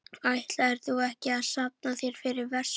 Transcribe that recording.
Ætlaðir þú ekki að safna þér fyrir vespu?